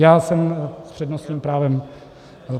Já jsem s přednostním právem.